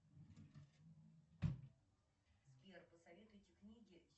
сбер посоветуйте книги